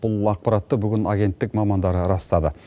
бұл ақпаратты бүгін агенттік мамандары растады